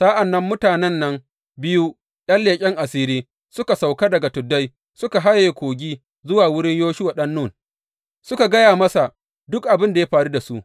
Sa’an nan mutanen nan biyu, ’yan leƙen asiri suka sauka daga tuddai suka haye kogi zuwa wurin Yoshuwa ɗan Nun, suka gaya masa duk abin da ya faru da su.